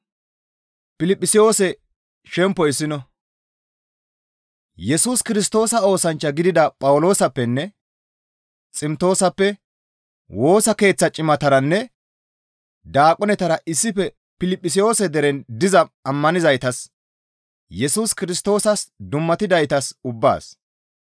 Yesus Kirstoosa oosanchcha gidida Phawuloosappenne Ximtoosappe Woosa Keeththa cimataranne daaqonetara issife Piliphisiyoose deren diza ammanizaytas Yesus Kirstoosas dummatidaytas ubbaas,